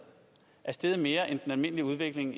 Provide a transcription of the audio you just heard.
er steget mere end den almindelige udvikling